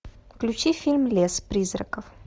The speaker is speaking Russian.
включи фильм лес призраков